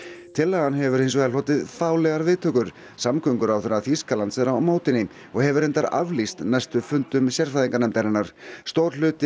tillagan hefur hins vegar hlotið viðtökur samgönguráðherra Þýskalands er á móti henni og hefur reyndar aflýst næstu fundum sérfræðinganefndarinnar stór hluti